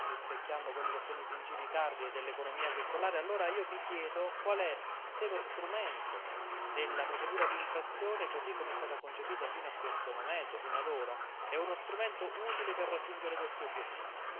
rispecchiando quelli che sono i principi cardine dell'economia circolare, allora io mi chiedo se lo strumento della procedura di infrazione, così come è stata concepita fino ad ora, è uno strumento utile per raggiungere questi obiettivi.